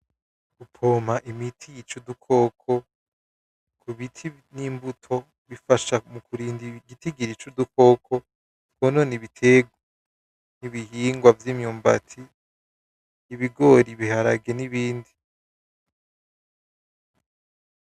Gupompa imiti yica udukoko kubiti nimbuto bifasha mukurinda igitigiri cudukoko twonona ibitegwa ibihingwa vyimyumbati ibigori ibiharage nibindi